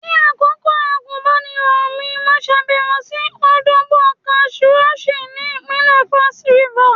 Ní àkókò àgùnbánirọ̀ mi, mo ṣàbẹ̀wò sí Obudu cattle Ranch ni ìpínlẹ̀ Cross River.